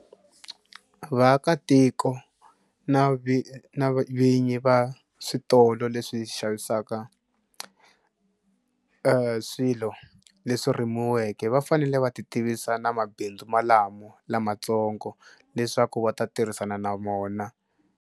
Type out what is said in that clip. Vaakatiko na na vinyi va switolo leswi xavisaka e swilo leswi rimiweke va fanele va titivisa na mabindzu malamo lamatsongo leswaku va ta tirhisana na mona.